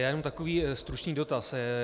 Já jenom takový stručný dotaz.